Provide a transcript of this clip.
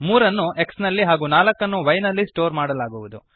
3 ಅನ್ನು x ನಲ್ಲಿ ಹಾಗೂ 4 ಅನ್ನು y ನಲ್ಲಿ ಸ್ಟೋರ್ ಮಾಡಲಾಗುವದು